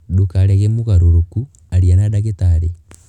Ndũkarege mũgarũrũku; aria na ndagĩtarĩ.